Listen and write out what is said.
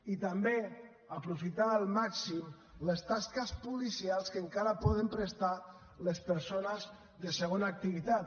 i també aprofitar al màxim les tasques policials que encara poden prestar les persones de segona activitat